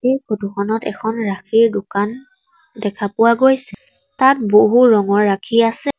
এই ফটো খনত এখন ৰাখীৰ দোকান দেখা পোৱা গৈছে তাত বহু ৰঙৰ ৰাখী আছে।